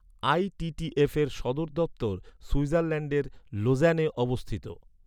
ITTF এর সদর দপ্তর সুইজারল্যাণ্ডের লোজ্যানে অবস্থিত।